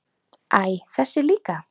Æ, þessi líka